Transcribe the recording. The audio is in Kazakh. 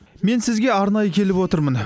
мен сізге арнайы келіп отырмын